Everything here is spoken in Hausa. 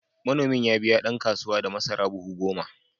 Manomin ya biya ɗan kasuwa da masara buhu goma.